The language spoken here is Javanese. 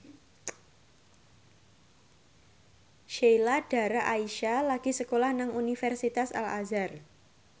Sheila Dara Aisha lagi sekolah nang Universitas Al Azhar